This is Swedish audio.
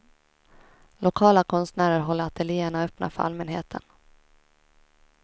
Lokala konstnärer håller ateljéerna öppna för allmänheten.